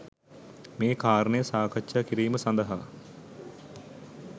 මේ කාරණය සාකච්ඡා කිරීම සඳහා